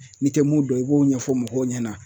N'i tɛ mun dɔn i b'o ɲɛfɔ mɔgɔw ɲɛna